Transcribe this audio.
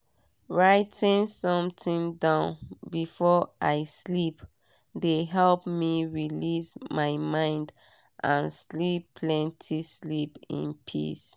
writing something down before i sleep de help me release my mind and sleep plenty sleep in peace.